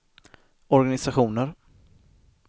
organisationer